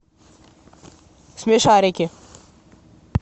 смешарики